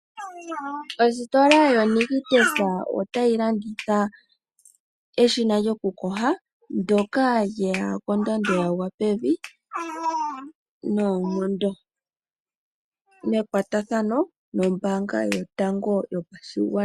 Ositola yo Nictus otayi landitha eshina lyoku yoga ndyka lyeya kondando yagwa pevi noonkondo, mekwatathano nombaanga yotango yopashigwana.